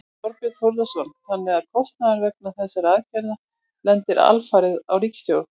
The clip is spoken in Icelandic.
Þorbjörn Þórðarson: Þannig að kostnaður vegna þessarar aðgerðar lendir alfarið á ríkissjóði?